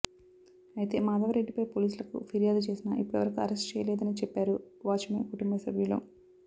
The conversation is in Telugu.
అయితే మాధవరెడ్డిపై పోలీసులకు ఫిర్యాదు చేసినా ఇప్పటివరకు అరెస్ట్ చేయలేదని చెప్పారు వాచ్ మెన్ కుటుంబసభ్యులు